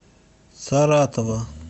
саратова